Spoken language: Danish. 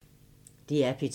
DR P2